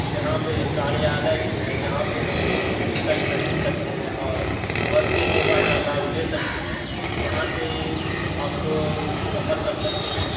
यहाँ पे कार्यालय भी है जहाँ पे हमलोग टिकट खरीद सकते हैं और बस के सेवा का लाभ ले सकते हैं। यहाँ से आप लोग सफर कर सकते हैं।